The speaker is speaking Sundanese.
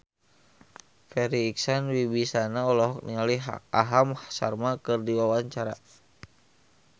Farri Icksan Wibisana olohok ningali Aham Sharma keur diwawancara